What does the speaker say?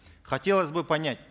хотелось бы понять